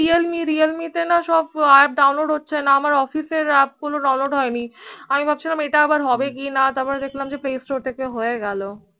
realme realme তে না সব App Download হয়ছে না আমার, office app গুলো download হয়নি আমি ভাবছিলাম এই তা আবার হবে কি না তারপর দেখলাম play store থেকে হয়ে গেল